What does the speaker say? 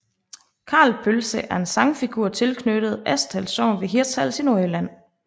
Karl Pølse er en sagnfigur tilknyttet Asdal Sogn ved Hirtshals i Nordjylland